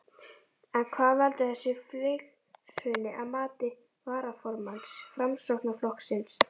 En hvað veldur þessu fylgishruni að mati varaformanns Framsóknarflokksins?